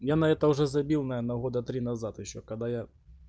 я на это уже забил наверное года три назад ещё когда я